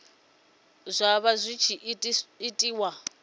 zwa vha zwi tshi itiwa